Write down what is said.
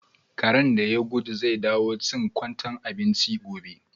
Karen da ya gudu zai dawo chin kwantai abinchi gobe.